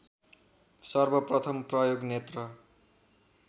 सर्वप्रथम प्रयोग नेत्र